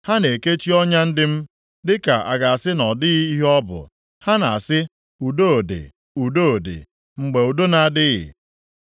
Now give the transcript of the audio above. Ha na-ekechi ọnya ndị m, dịka a ga-asị na ọ dịghị ihe ọ bụ. Ha na-asị, ‘Udo dị, udo dị,’ mgbe udo na-adịghị.